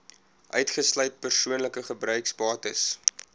uitgesluit persoonlike gebruiksbates